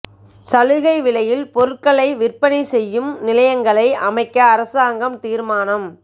சலுகை விலையில் பொருட்களை விற்பனை செய்யும் நிலையங்களை அமைக்க அரசாங்கம் தீர்மானம்